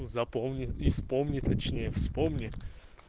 запомни и вспомни точнее вспомни